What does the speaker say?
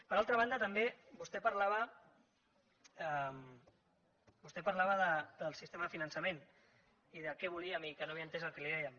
per altra banda també vostè parlava del sistema de finançament i de què volíem i que no havia entès el que li dèiem